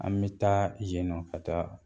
An mi taa yen nɔn ka taa